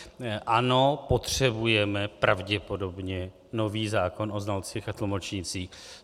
Ano, potřebujeme pravděpodobně nový zákon o znalcích a tlumočnících.